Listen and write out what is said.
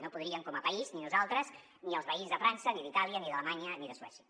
no podríem com a país ni nosaltres ni els veïns de frança ni d’itàlia ni d’alemanya ni de suècia